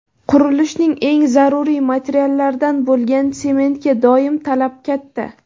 Qurilishning eng zaruriy materiallaridan bo‘lgan sementga doimo talab katta.